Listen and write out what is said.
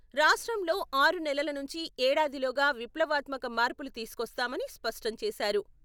రాష్ట్రంలో ఆరునెలల నుంచి ఏడాదిలోగా విప్లవాత్మక మార్పులు తీసుకొస్తామని స్పష్టం చేశారు.